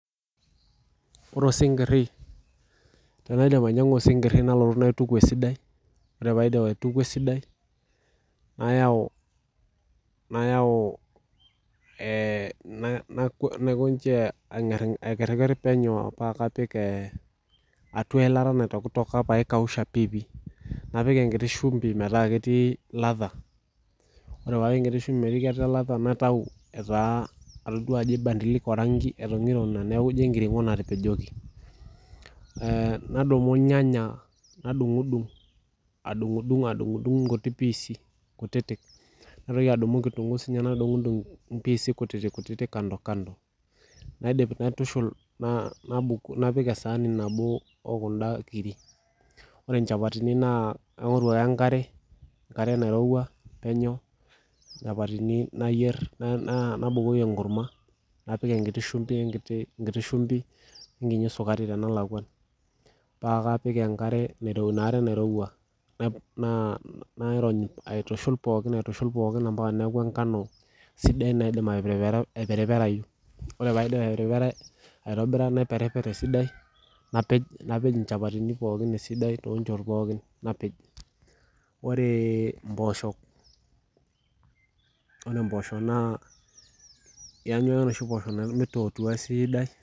Ore osinkiri tenaidip ainyiang'u osinkiri nalotu nainyiang'u esidai nayau eee naikonji ang'ringer penyo paa kapik atua ilata naitokitok metaa keikausha piipi napik enkiti shumbi naji latha ore paapik enkiti shumbi metaa ketii latha naitai etaa ajo atodua ebadilike orangi etong'irono neeku injio enkiring'o natapejoki eeh nadumu irnyanya nidung'udung adung'udung adung'udung nkuti pis kutitik naitoki adung'udung kitunkuu nidung'udung inkuti pis kutitik kutitik kando kando naidim naitushul napik esani nabo okunda kirik ore inchapatini naa kaing'oru ake enkare nairowua penyo inchapatini nayier naa nabukoki enkurma nabukoki enkiti shumbi wenkiti wenkiti sukari paakapik inaare nairowua aitushul pookin ompaka neeku enkano sidai naidim eperiperayu ore paidip aperipera aitobira naiperiper esidai napej inchapatini pookin toonchot pookin napej ore impooshok yanyue ake meitootuaa esidai .